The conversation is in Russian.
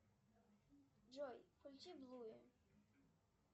джой включи блуе